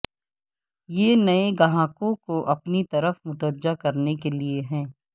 یہ نئے گاہکوں کو اپنی طرف متوجہ کرنے کے لئے ہے